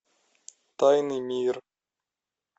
тайный мир